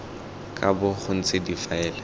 ka bo go ntse difaele